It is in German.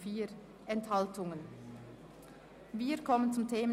im Asylbereich Verzicht und Kürzungen (Massnahme 46.5.1): Ablehnen der Massnahme.